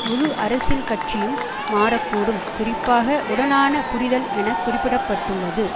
முழு அரசியல் காட்சியும் மாற கூடும் குறிப்பாக உடனான புரிதல் என குறிப்பிட பட்டுள்ளது